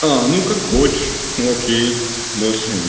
а ну как хочешь окей больше